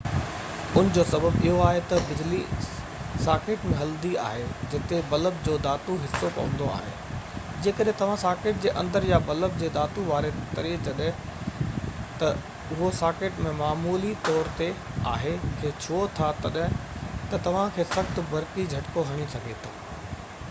ان جو سبب اهو آهي تہ بجلي ساڪيٽ ۾ هلندي آهي جتي بلب جو ڌاتو حصو پوندو آهي جيڪڏهن توهان ساڪيٽ جي اندر يا بلب جي ڌاتو واري تري جڏهن تہ اهو ساڪيٽ ۾ معمولي طور تي آهي کي ڇهو ٿا تہ توهان کي سخت برقي جهٽڪو هڻي سگهي ٿو